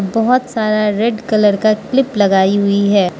बहोत सारा red colour का क्लिप लगाई हुई है।